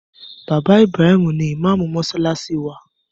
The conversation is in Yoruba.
Bàbá Ibrahim ni ìmáàmù mọ́ṣáláṣí wa.